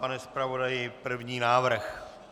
Pane zpravodaji, první návrh.